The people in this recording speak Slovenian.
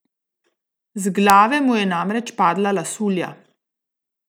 Z glave mu je namreč padla lasulja!